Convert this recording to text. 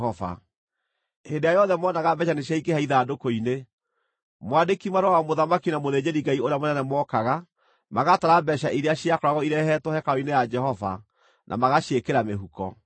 Hĩndĩ ĩrĩa yothe moonaga mbeeca nĩciaingĩha ithandũkũ-inĩ, mwandĩki-marũa wa mũthamaki na mũthĩnjĩri-Ngai ũrĩa mũnene mookaga, magatara mbeeca iria ciakoragwo irehetwo hekarũ-inĩ ya Jehova na magaciĩkĩra mĩhuko.